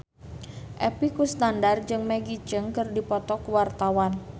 Epy Kusnandar jeung Maggie Cheung keur dipoto ku wartawan